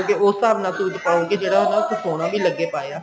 ਉਸ ਹਿਸਾਬ ਨਾਲ suit ਪਾਉ ਕੇ ਜਿਹੜਾ ਉਹਨਾ ਉੱਤੇ ਸੋਹਣਾ ਵੀ ਲੱਗੇ ਪਾਇਆ